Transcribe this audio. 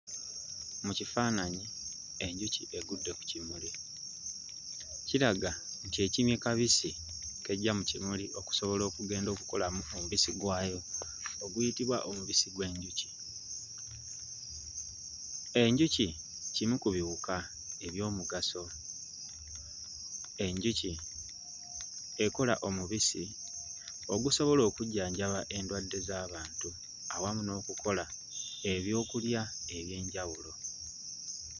Mu kifaananyi enjuki egudde ku kimuli, kiraga nti ekimye kabisi k'eggya mu kimuli okusobola okugenda okukolamu omubisi gwayo oguyitibwa omubisi gw'enjuki, enjuki kimu ku biwuka eby'omugaso, enjuki ekola omubisi ogusobola okujjanjaba endwadde z'abantu awamu n'okukola ebyokulya eby'enjawulo